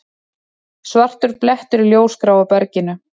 Svartur blettur í ljósgráu berginu.